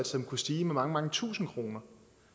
som kunne stige med mange mange tusind kroner